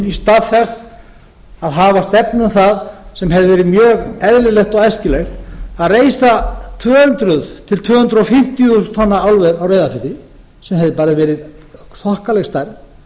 í stað þess að hafa stefnu um það sem hefði verið mjög eðlilegt og æskilegt að reisa tvö hundruð til tvö hundruð fimmtíu þúsund tonna álver á reyðarfirði sem hefði bara verið þokkaleg stærð